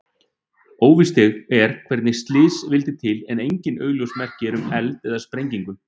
Óvíst er hvernig slysið vildi til en engin augljós merki eru um eld eða sprengingu.